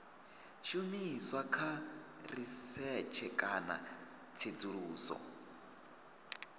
shumiswa kha risetshe kana tsedzuluso